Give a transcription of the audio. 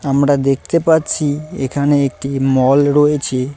আমরা দেখতে পাচ্ছি এখানে একটি মল রয়েছে।